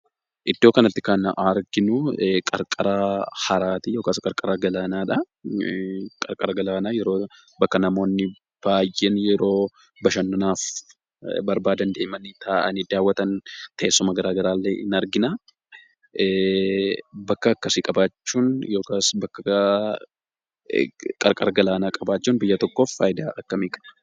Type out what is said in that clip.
Iddoo kanatti kan arargin uarqara haraa yookiis qarqara galaanaadhaa. Qarqara galaanaa yeroo bakka namootni baayyeen yeroo bashananaaf barbaadan deemanii taa'anii daawwatan teessuma garaagaraa illee ni arginaa. Bakka akkasii qabaachuun yookiis bakka qarqara galaanaa qabaachuun biyya tokkoof fayidaa akkamii qaba?